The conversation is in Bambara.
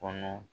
Kɔnɔ